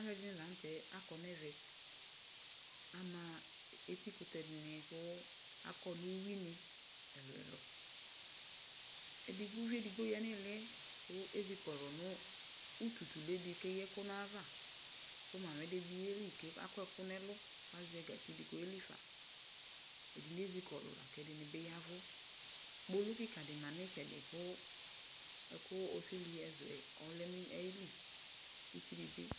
Alʋ ɛdini la n'tɛ akɔ n'ɛvɛ Ama eti kʋtɛ dini kʋ akɔ nʋ uyuini ɛlʋ ɛlʋ Ɛdi k'uvi edigbo ya n'ihili yɛ kʋ ezikɔlʋ nʋ utu tule di k'eyǝ ɛkʋ n'ayava kʋ Mami di bi yeli k'akɔ ɛkʋ n'ɛlʋ k'azɛ gatsi di k'ɔyelifa Ɛdini ezikɔlʋ lak'ɛdini bi yavʋ Kpolu kika di ma n'itsɛdi kʋ lakʋ osili ɛzu yɛ lɛnʋ ayili, ɛdi bi